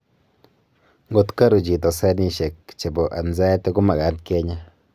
ngotgokaru chito seenishek chebo anxiety ko maagat kenya